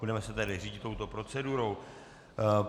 Budeme se tedy řídit touto procedurou.